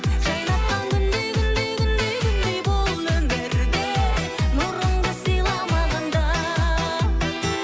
жайнатқан күндей күндей күндей күндей бұл өмірде нұрыңды сыйла маған да